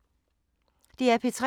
DR P3